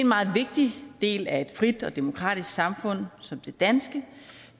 meget vigtig del af et frit og demokratisk samfund som det danske